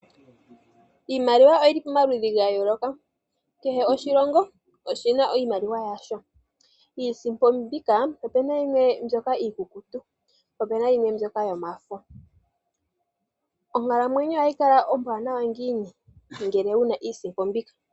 Iimaliwa oyili pa maludhi ga yooloka. Kehe oshilongo oshina iimaliwa yasho. Iisimpo mbika opuna yimwe mbyoka iikukutu, po puna yimwe mbyoka yo mafo. Onkalamwenyo ohayi kala ombwaanawa ngiini? Ngele wuna iisimpo mbika?